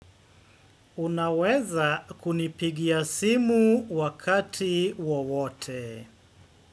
Unaweza kunipigia simu wakati wowote.